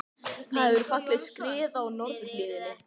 Það hefur fallið skriða í norðurhlíðinni